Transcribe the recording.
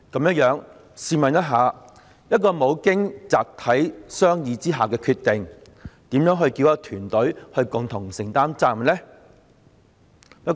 這樣，試問就一個未經集體商議而作出的決定，如何能叫一個團隊共同承擔責任呢？